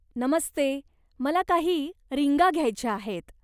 नमस्ते, मला काही रिंगा घ्यायच्या आहेत.